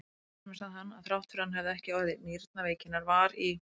Enn fremur sagði hann, að þrátt fyrir að hann hefði ekki orðið nýrnaveikinnar var í